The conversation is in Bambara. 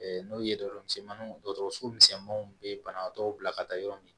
N'o ye dɔgɔmisɛnninw ye dɔgɔtɔrɔso misɛnninw bɛ banabaatɔw bila ka taa yɔrɔ min